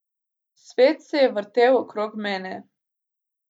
Svet se je zavrtel okrog mene.